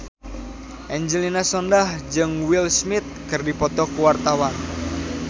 Angelina Sondakh jeung Will Smith keur dipoto ku wartawan